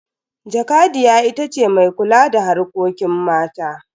Jakadiya ita ce mai kula da harkokin mata.